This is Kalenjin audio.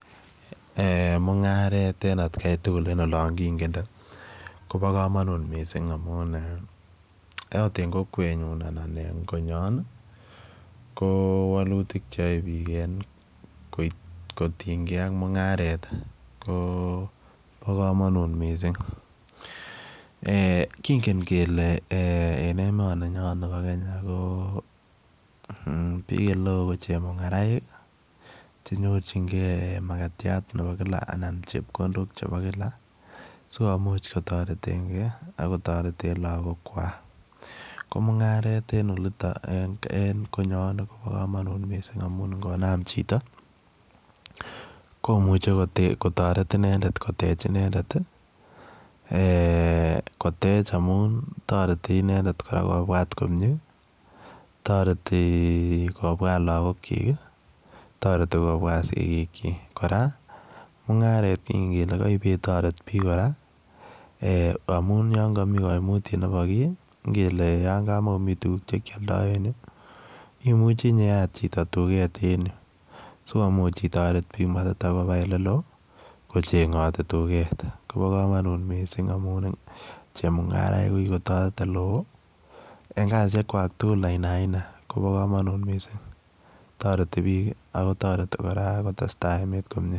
Eeh mungaret en at Kai tugul en olaan kiingende koba kamanutiet missing amuun eeh akoot en kokwet nyuun anan en konyaan ii ko walutiik che yae biik kotinyei ak mungaret ii ko bo kamanut missing eh kingen kele emanii ninyoon bo Kenya ko biik ole wooh ko chemungaraek che nyorjigei makatiat kila anan chepkondook chebo kila sikomuuch kotareteen gei ako tareteen lagook kwaak ko mungaret en konyoon ii kobaa missing amuun ingonaam chitoo ko muchei kotaret inendet koteech inendet ii eeh koteech amuun taretii inendet kobwaat komyei taretii kobwaat lagook kyiik taretii kobwaat sikiik kyiik kora mungaret ko taretii kele ka nebo kiy ngele kama komii tuguuk che keyaldaa en Yuu imuchei inyeyaat chitoo tugeet en Yuu sikomuuch maitakobaah biik ole loo kochengatii tugeet koba kamanut missing amuun chemungarainik ko kikotaret ole wooh en kasisiek kwak tugul aina aina koba kamanut missing taretii biik ako taretii kotestai emeet komyei.